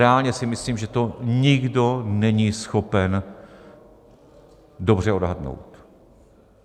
Reálně si myslím, že to nikdo není schopen dobře odhadnout.